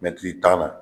Mɛtiri tan na